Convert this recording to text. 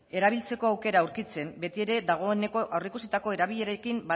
erabiltzeko aukera aurkitzen betiere dagoeneko aurreikusitako erabilerekin